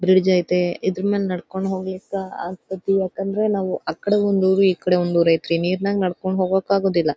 Bridge ಐತೆ ಇದ್ರಮೇಲೆ ನಡ್ಕೊಂಡು ಹೋಗಲಿಕ್ಕೆ ಆಗ್ತಾತ. ಯಾಕೆಂದ್ರೆ ನಾವು ಆಕಡೆ ಒಂದು ಊರ್ ಇಕ್ಕಡ ಒಂದು ಊರು ಐತೆ ಇದೆ ನೀರಲ್ಲಿ ನಡ್ಕೊಂಡು ಹೋಗಕ್ಕೆ ಆಗೋದಿಲ್ಲ.